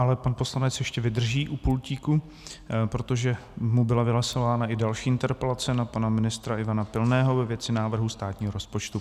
Ale pan poslanec ještě vydrží u pultíku, protože mu byla vylosována i další interpelace na pana ministra Ivana Pilného ve věci návrhu státního rozpočtu.